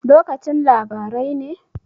Lokacin labarai ne?